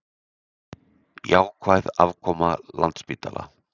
Jákvæð afkoma Landspítala